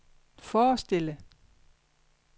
forestille